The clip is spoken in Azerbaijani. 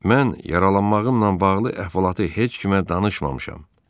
Mən yaralanmağımla bağlı əhvalatı heç kimə danışmamışam.